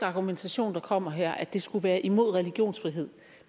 argumentation der kommer her at det skulle være imod religionsfrihed